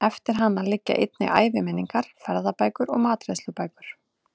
Eftir hann liggja einnig æviminningar, ferðabækur og matreiðslubækur.